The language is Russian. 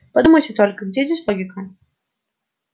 подумайте только где здесь логика